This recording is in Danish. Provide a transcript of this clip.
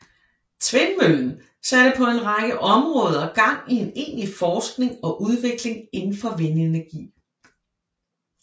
Tvindmøllen satte på en række områder gang i en egentlig forskning og udvikling inden for vindenergi